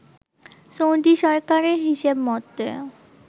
Saudi সরকারের হিসেব মতে